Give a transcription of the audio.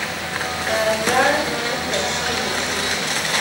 Kaigai kur teksi neisupu